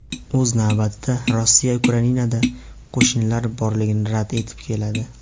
O‘z navbatida, Rossiya Ukrainada qo‘shinlari borligini rad etib keladi.